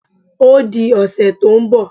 O di ọ̀sẹ̀ tó ń bọ̀